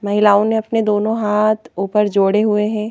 महिलाओं ने अपने दोनों हाथ ऊपर जोड़े हुए हैं।